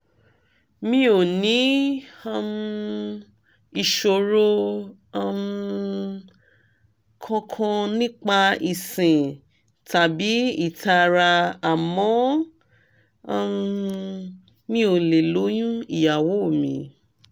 mi ò ní um ìṣòro um kankan nípa ìsín tàbí ìtara àmọ́ um mi ò lè lóyún ìyàwó mi